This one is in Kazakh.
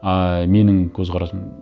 ыыы менің көзқарасым